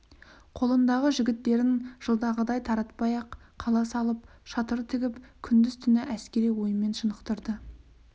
қолындағы жігіттерін жылдағыдай таратпай ақ қала салып шатыр тігіп күндіз-түні әскери ойынмен шынықтырды